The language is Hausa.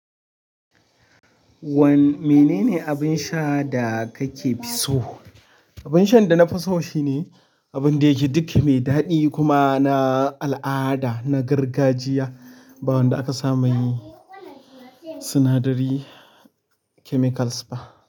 Mene ne abin sha da kake fi so? Abun shan da na fi so shine abun da yake duk mai daɗi kuma na al'ada, na gargajiya ba wanda aka sa mai sinadari chemicals ba.